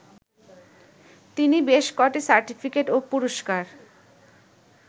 তিনি বেশ ক’টি সার্টিফিকেট ও পুরস্কার